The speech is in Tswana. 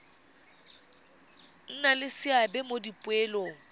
nna le seabe mo dipoelong